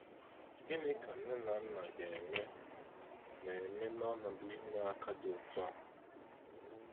Gịnị ka nne na nna ga eme na eme na ọnọdụ ime aka dị otu a.?